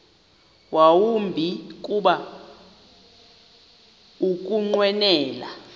yawumbi kuba ukunqwenela